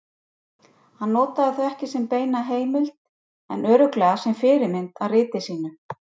Hann notaði þau ekki sem beina heimild en örugglega sem fyrirmynd að riti sínu.